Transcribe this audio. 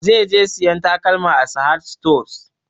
Zai je sayan takalma a sahad stores